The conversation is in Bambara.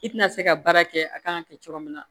I tɛna se ka baara kɛ a kan ka kɛ cogo min na